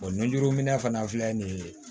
nunjuruminɛ fana filɛ nin ye